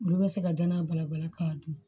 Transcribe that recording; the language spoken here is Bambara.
Olu bɛ se ka danaya bala bala ka dun